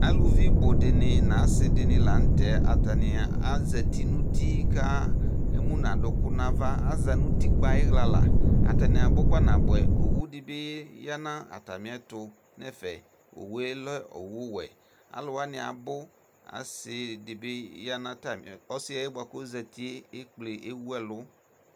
Aluvi budini na asi dini la tɛ atani azɛti nuti ka ému nu aduku na ava azati utikpa ayi xla lă atani abu kpanaboɛ owu dibi ya nu atamiɛtu nɛ fɛ owu lɛ owu wɛ alu woani abu asi dibi ya na tami ɛtu ɔsiɛ boa kɔ zéti ékplé éwuɛlu